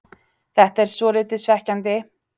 Þetta er svolítið svekkjandi.